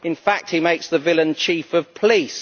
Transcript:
In fact he makes the villain chief of police.